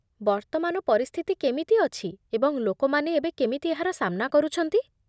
ବର୍ତ୍ତମାନ ପରିସ୍ଥିତି କେମିତି ଅଛି ଏବଂ ଲୋକମାନେ ଏବେ କେମିତି ଏହାର ସାମ୍ନା କରୁଛନ୍ତି